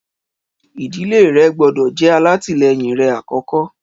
Ìdílé rẹ gbọ́dọ̀ jẹ́ alátìlẹyìn rẹ àkókó.